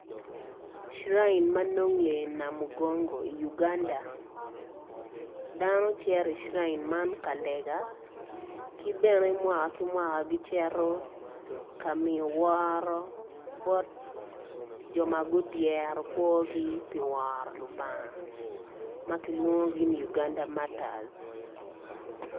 Sirain ma nonge i namugongo i Uganda dano cito i Sirain man ka lega ki bene mwaka ki kmwaka gicito ka miyo woro bot jo ma gudyero kwogi ka woro lubanga.